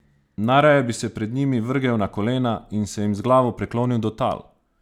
Najraje bi se pred njimi vrgel na kolena in se jim z glavo priklonil do tal!